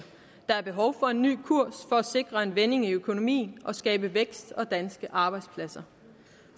der er behov for en ny kurs for at sikre en vending i økonomien og skabe vækst og danske arbejdspladser